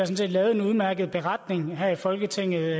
set lavet en udmærket beretning her i folketinget